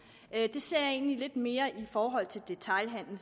jeg ser det egentlig lidt mere i forhold til detailhandelen